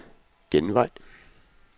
genvej